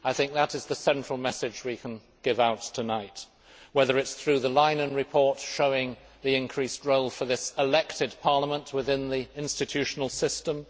That is the central message we can give out tonight, whether it is through the Leinen report showing the increased role for this elected Parliament within the institutional system